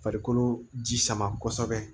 Farikolo ji sama kosɛbɛ